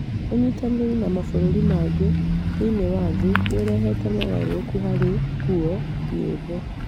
Ũnyitanĩri na mabũrũri mangĩ thĩinĩ wa thĩ nĩ ũrehete mogarũrũku harĩ nguo, nyĩmbo,